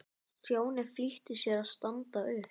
Stjáni flýtti sér að standa upp.